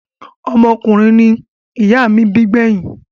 Ọmọkùnrin ni ìyá mí bí gbẹ́yìn.